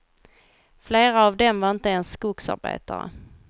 Flera av dem var inte ens skogsarbetare.